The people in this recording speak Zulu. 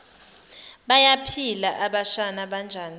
bayaphila abashana banjani